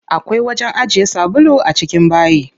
Akwai wajen ajiye sabulu a cikin bayi.